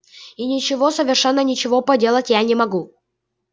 и ничего совершенно ничего поделать я не могу